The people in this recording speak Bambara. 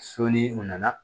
So ni u nana